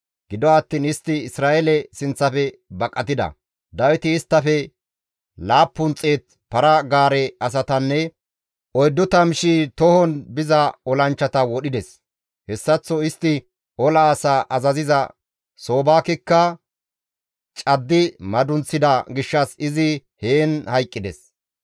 Gido attiin istti Isra7eele sinththafe baqatida; Dawiti isttafe 700 para-gaare asatanne 40,000 tohon biza olanchchata wodhides. Hessaththo istti ola asaa azaziza Soobakekka caddi madunththida gishshas izi heen hayqqides.